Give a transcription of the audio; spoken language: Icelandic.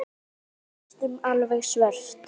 Næstum alveg svört.